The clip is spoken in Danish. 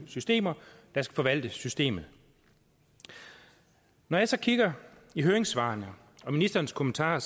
systemer der skal forvalte systemet når jeg så kigger i høringssvarene og ministerens kommentarer